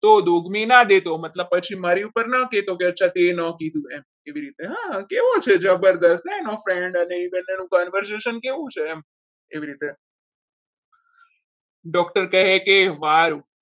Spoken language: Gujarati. તો દુઃખી ના દે તો મતલબ કે પછી મારી ઉપર ના કહેતો કે અચ્છા તે ન કીધું એમ એવી રીતે હા કેવું છે આ જબરજસ્ત એનો friend અને બંનેનું conversation કેવું છે એવી રીતે doctor કહે કે વાહ